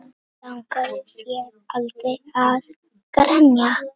Langaði þig aldrei að grenja?